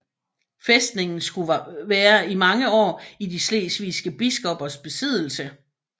Fæstningen skulle være i mange år i de slesvigske biskoppers besiddelse